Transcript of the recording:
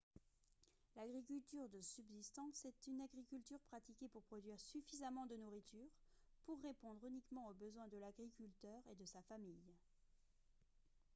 l'agriculture de subsistance est une agriculture pratiquée pour produire suffisamment de nourriture pour répondre uniquement aux besoins de l'agriculteur et de sa famille